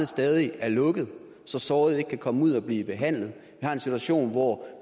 stadig er lukkede så sårede ikke kan komme ud og blive behandlet vi har en situation hvor